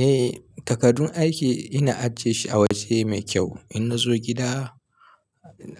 Eh takardun aiki ina ajiyesu a waje mai kyau. Inna zo gida